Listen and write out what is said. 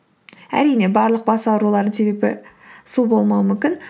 әрине барлық бас аурулардың себебі су болмауы мүмкін